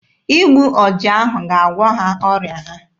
Igbu ọja ahụ ga-agwọ ha ọrịa ha.